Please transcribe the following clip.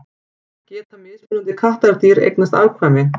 Geta mismunandi kattardýr eignast afkvæmi?